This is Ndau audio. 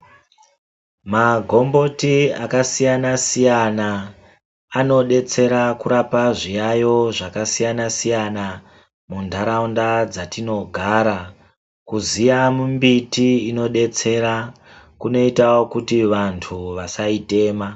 Magomboti akasiyana -siyana anodetsera kurapa zviyaiyo zvakasiyana-siyana muntaraunda dzatinogara. Kuziya mumbiti inodetsera kunoita kuti vantu vasaitema.